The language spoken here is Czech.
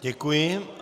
Děkuji.